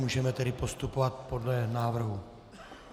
Můžeme tedy postupovat podle návrhu.